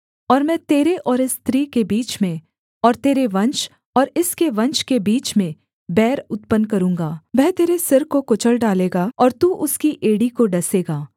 और मैं तेरे और इस स्त्री के बीच में और तेरे वंश और इसके वंश के बीच में बैर उत्पन्न करूँगा वह तेरे सिर को कुचल डालेगा और तू उसकी एड़ी को डसेगा